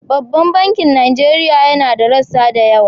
Babban bankin Nigeria yana da rassa da yawa.